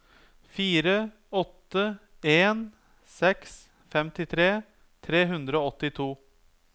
fire åtte en seks femtitre tre hundre og åttito